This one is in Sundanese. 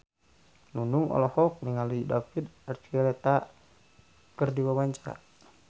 Nunung olohok ningali David Archuletta keur diwawancara